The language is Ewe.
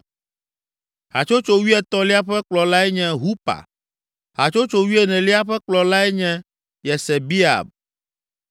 Hatsotso wuietɔ̃lia ƒe kplɔlae nye Hupa. Hatsotso wuienelia ƒe kplɔlae nye Yesebeab.